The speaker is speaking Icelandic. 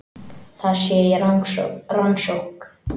Það sé í rannsókn